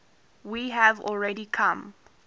we have already come